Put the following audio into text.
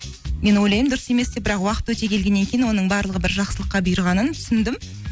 мен ойлаймын дұрым емес деп бірақ уақыт өте келгеннен кейін оның барлығы бір жақсылыққа бұйырғанын түсіндім